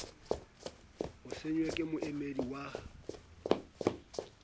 o saennwe ke moamehi ya